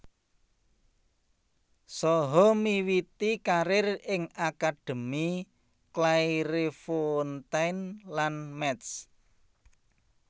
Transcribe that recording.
Saha miwiti karir ing akademi Clairefontaine lan Metz